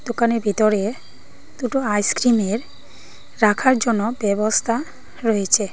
দোকানের ভিতরে দুটো আইসক্রিমের রাখার জন্য ব্যবস্থা রয়েছে।